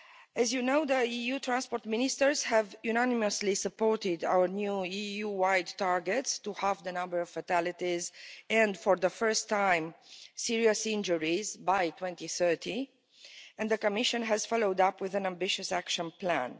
As you know, the EU transport ministers have unanimously supported our new EU wide targets to halve the number of fatalities and for the first time serious injuries by 2030, and the Commission has followed up with an ambitious action plan.